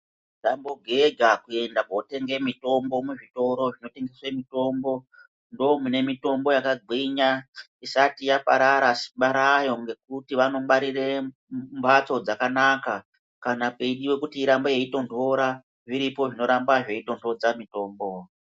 Musambo geja kuenda ko tenge mitombo mu zvitoro zvino tengese mitombo ndo mune mitombo yaka gwinya isati yaparara simba rayo ngekuti vano ngwarire mbatso dzakanaka kana pei diwe kuti irambe yei tondora zviripo zvino ramba zvei tondodza mitombo.